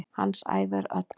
Hans ævi er öll.